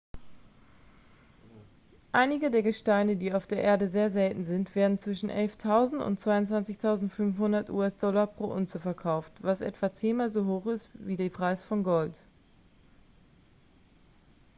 einige der gesteine die auf der erde sehr selten sind werden zwischen 11.000 und 22.500 us-dollar pro unze verkauft was etwa zehnmal so hoch ist wie die preis von gold